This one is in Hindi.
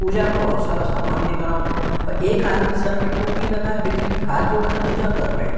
पूजा को बहोत सारा सामान दिख रहो एक आदमी सर पर टोपी लगाए बिनती हाथ जोड़ के पूजा कर रहे।